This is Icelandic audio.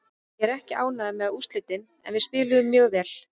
Ég er ekki ánægður með úrslitin en við spiluðum mjög vel.